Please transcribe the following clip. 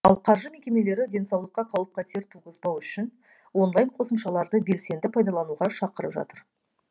ал қаржы мекемелері денсаулыққа қауіп қатер туғызбау үшін онлайн қосымшаларды белсенді пайдалануға шақырып жатыр